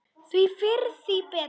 Því fyrr, því betra.